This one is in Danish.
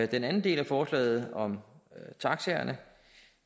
den anden del af forslaget om taxaerne